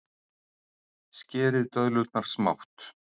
Skerið döðlurnar smátt.